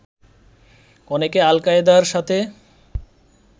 অনেকে আল কায়দার সাথে